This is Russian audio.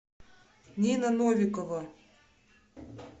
нина новикова